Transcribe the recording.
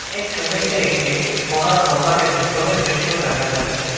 এই ছবিতে একটি সোনার দোকানের ভিতরের দৃশ্য দেখা যাচ্ছে।